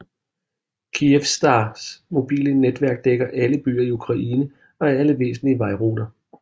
Kyivstar mobiles netværk dækker alle byer i Ukraine og alle væsentlige vejruter